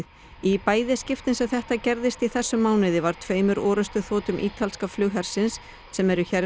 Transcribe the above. í bæði skiptin sem þetta gerðist í þessum mánuði var tveimur orrustuþotum ítalska flughersins sem eru hér